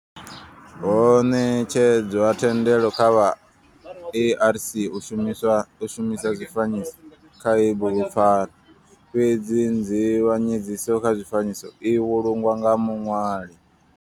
Ho netshedzwa thendelo kha vha ARC u shumisa zwifanyiso kha heyi bugupfarwa fhedzi nzivhanyedziso kha zwifanyiso i vhulungwa nga muṋwali.